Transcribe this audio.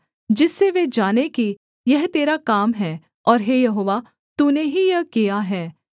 जिससे वे जाने कि यह तेरा काम है और हे यहोवा तूने ही यह किया है